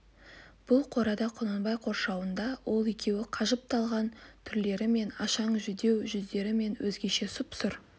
бұл қорада құнанбай қоршауында ол екеу қажып талған түрлермен ашаң жүдеу жүздермен өзгеше сұп-сұр